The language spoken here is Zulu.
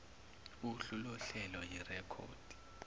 uhlu lohlelo yirekhodi